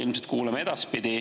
Ilmselt kuuleme ka edaspidi.